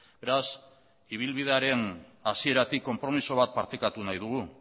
beraz ibilbidearen hasieratik konpromiso bat partekatu nahi dugu